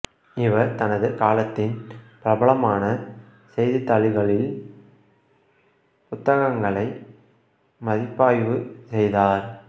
இவர் தனது காலத்தின் பிரபலமான செய்தித்தாள்களில் புத்தகங்களை மதிப்பாய்வு செய்தார்